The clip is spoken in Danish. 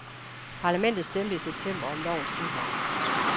Parlamentet stemte i september om lovens indhold.